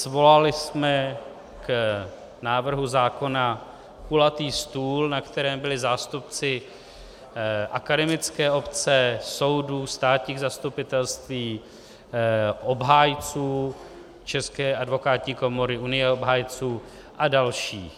Svolali jsme k návrhu zákona kulatý stůl, na kterém byli zástupci akademické obce, soudů, státních zastupitelství, obhájců České advokátní komory, Unie obhájců a další.